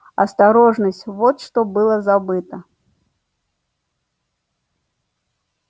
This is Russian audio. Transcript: осторожность вот что было забыто